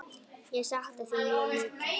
Ég sakna þín mjög mikið.